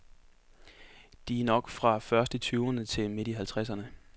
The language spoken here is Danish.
De er nok fra først i tyverne til midt i halvtredserne.